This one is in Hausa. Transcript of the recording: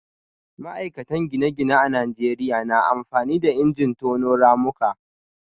ma'aikatan gine-gine a Najeriya na amfani da injin tono ramuka